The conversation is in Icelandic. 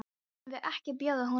Eigum við ekki að bjóða honum inn?